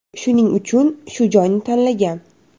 Shuning uchun shu joyni tanlagan.